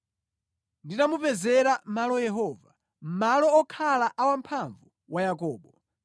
mpaka nditamupezera malo Yehova, malo okhala a Wamphamvu wa Yakobo.”